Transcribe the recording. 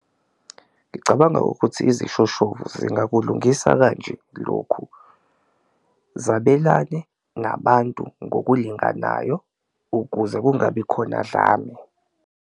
Ngicabanga ukuthi izishoshovu zingakulungisa kanje lokhu, zabelane nabantu ngokulinganayo ukuze kungabi khona dlame.